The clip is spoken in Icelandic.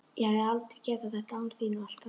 Ég hefði aldrei getað þetta án þín og allt það.